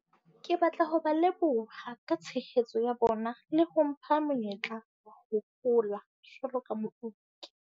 Ke batla ho ba leboha ka tshehetso ya bona le ho mpha monyetla wa ho hola jwalo ka mooki.